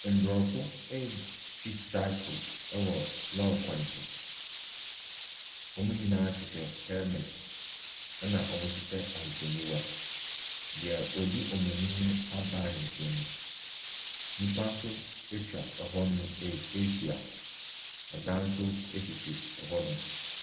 Aborɔfo ɛretwi cycle wɔ lɔɔre kwan so. Wɔn nyinaa hyehyɛ helmet na wɔhyehyɛ hawehwɛniwa. Deɛ odi wɔn anima bae ne nsa mu. Nnipa nso atwa hɔnom ahyia. Dan nso sisi hɔnom.